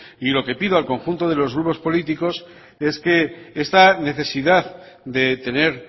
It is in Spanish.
y lo que pido al conjunto de los grupos políticos es que esta necesidad de tener